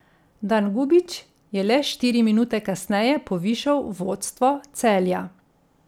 Dangubić je le štiri minute kasneje povišal vodstvo Celja.